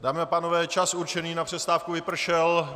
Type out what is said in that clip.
Dámy a pánové, čas určený na přestávku vypršel.